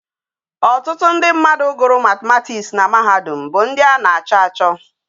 Otutu ndi mmadu guru mathematics na mahadum bu ndi a na acho acho